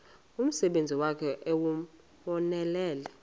umsebenzi wakhe ewunonelele